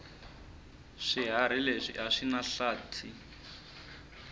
swihharhi leswi aswinahlathi